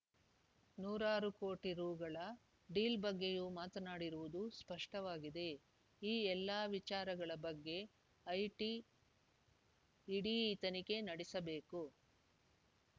ನೂರಾರು ಕೋಟಿ ರುಗಳ ಡೀಲ್‌ ಬಗ್ಗೆಯೂ ಮಾತನಾಡಿರುವುದು ಸ್ಪಷ್ಟವಾಗಿದೆ ಈ ಎಲ್ಲಾ ವಿಚಾರಗಳ ಬಗ್ಗೆ ಐಟಿ ಇಡಿ ಇತನಿಗೆ ನಡೆಸಬೇಕು